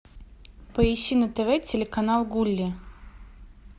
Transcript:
поищи на тв телеканал гулли